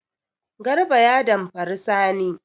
Garba ya damfari Sani.